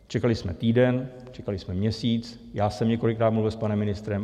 Čekali jsme týden, čekali jsme měsíc, já jsem několikrát mluvil s panem ministrem.